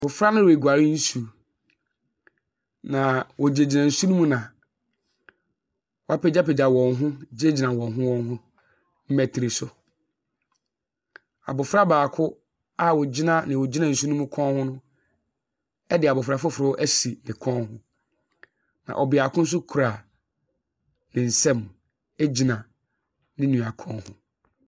Mmɔfra no riguar nsu, na wogyinagyina nsu ne mu na wɔapagyapagya wɔn ho gyinagyina wɔnho wɔnho mbatiri so. Abɔfra a ogyina dea ogyina nsu ne mu no kɔn ho, ɛde abɔfra foforo ɛsi ne kɔn ho. Na ɔbaako nso kura ne nsa mu ɛgyina ne nua kɔn ho.